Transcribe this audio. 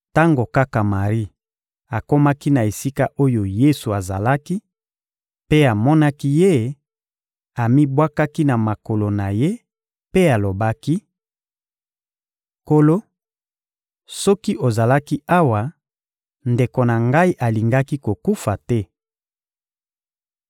Tango kaka Mari akomaki na esika oyo Yesu azalaki mpe amonaki Ye, amibwakaki na makolo na Ye mpe alobaki: — Nkolo, soki ozalaki awa, ndeko na ngai alingaki kokufa te!